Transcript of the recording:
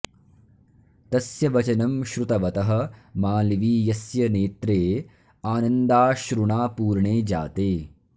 तस्य वचनं श्रुतवतः मालवीयस्य नेत्रे आनन्दाश्रुणा पूर्णे जाते